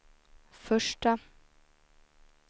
första